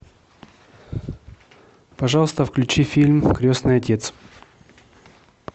пожалуйста включи фильм крестный отец